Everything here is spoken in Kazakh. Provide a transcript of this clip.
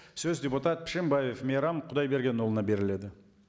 сөз депутат пішембаев мейрам құдайбергенұлына беріледі